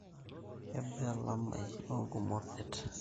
kabaa elamai oongumot det